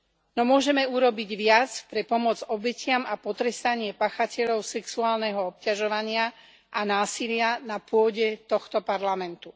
No môžeme urobiť viac pre pomoc obetiam a potrestanie páchateľov sexuálneho obťažovania a násilia na pôde tohto parlamentu.